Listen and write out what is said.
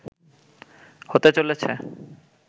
হতে চলেছে